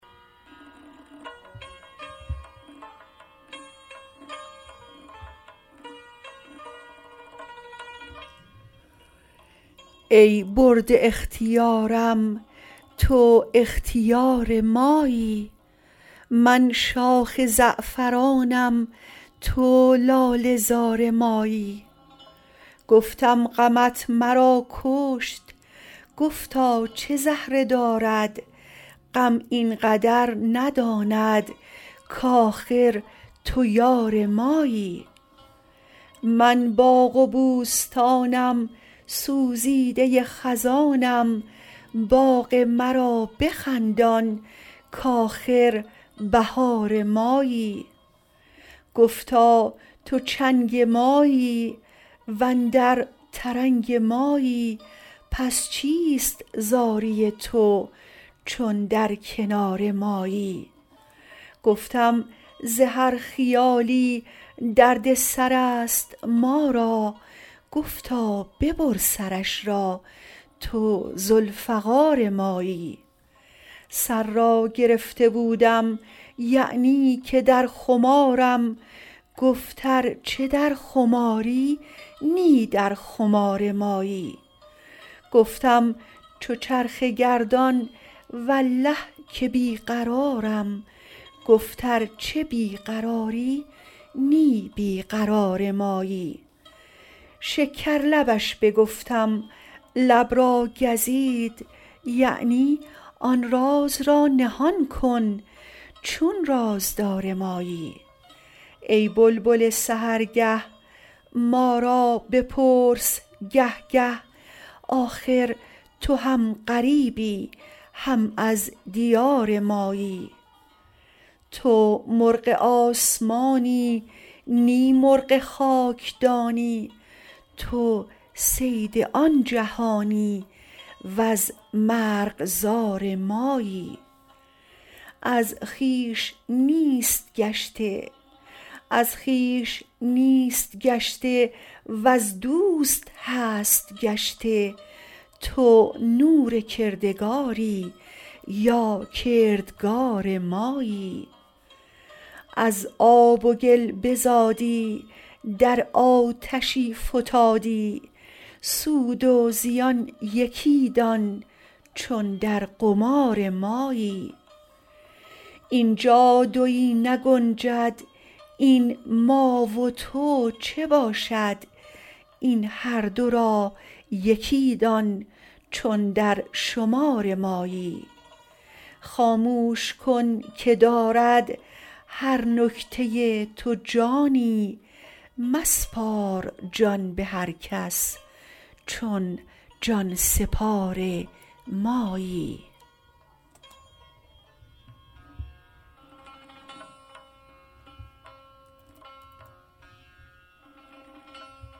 ای برده اختیارم تو اختیار مایی من شاخ زعفرانم تو لاله زار مایی گفتم غمت مرا کشت گفتا چه زهره دارد غم این قدر نداند کآخر تو یار مایی من باغ و بوستانم سوزیده خزانم باغ مرا بخندان کآخر بهار مایی گفتا تو چنگ مایی و اندر ترنگ مایی پس چیست زاری تو چون در کنار مایی گفتم ز هر خیالی درد سر است ما را گفتا ببر سرش را تو ذوالفقار مایی سر را گرفته بودم یعنی که در خمارم گفت ار چه در خماری نی در خمار مایی گفتم چو چرخ گردان والله که بی قرارم گفت ار چه بی قراری نی بی قرار مایی شکرلبش بگفتم لب را گزید یعنی آن راز را نهان کن چون رازدار مایی ای بلبل سحرگه ما را بپرس گه گه آخر تو هم غریبی هم از دیار مایی تو مرغ آسمانی نی مرغ خاکدانی تو صید آن جهانی وز مرغزار مایی از خویش نیست گشته وز دوست هست گشته تو نور کردگاری یا کردگار مایی از آب و گل بزادی در آتشی فتادی سود و زیان یکی دان چون در قمار مایی این جا دوی نگنجد این ما و تو چه باشد این هر دو را یکی دان چون در شمار مایی خاموش کن که دارد هر نکته تو جانی مسپار جان به هر کس چون جان سپار مایی